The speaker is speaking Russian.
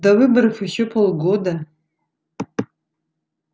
до выборов ещё полгода